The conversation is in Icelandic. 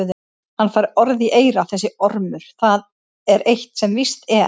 Hann fær orð í eyra þessi ormur, það er eitt sem víst er.